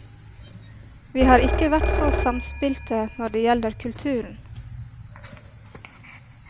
Vi har ikke vært så samspilte når det gjelder kulturen.